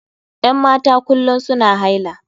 Yan mata kullum suna haila.